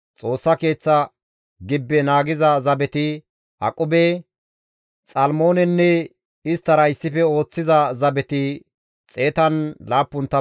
Xoossa Keeththa gibbe naagiza zabeti, Aqube, Xalmoonenne isttara issife ooththiza zabeti 172.